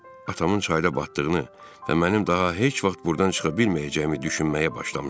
Atamın çayda batdığını və mənim daha heç vaxt burdan çıxa bilməyəcəyimi düşünməyə başlamışdım.